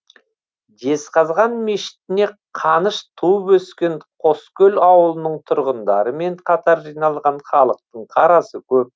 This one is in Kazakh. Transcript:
жезқазған мешітіне қаныш туып өскен қоскөл ауылының тұрғындарымен қатар жиналған халықтың қарасы көп